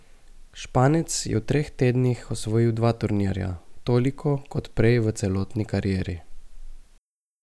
Španec je v treh tednih osvojil dva turnirja, toliko kot prej v celotni karieri.